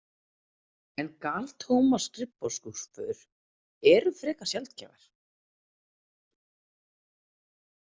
En galtómar skrifborðsskúffur eru frekar sjaldgæfar.